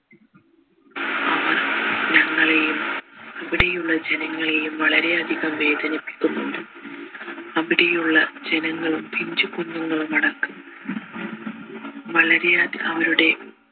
ഞങ്ങളെയും അവിടെയുള്ള ജനങ്ങളെയും വളരെയധികം വേദനിപ്പിക്കുന്നുണ്ട് അവിടെയുള്ള ജനങ്ങളും പിഞ്ചുകുഞ്ഞുങ്ങളും അടക്കം വളരെ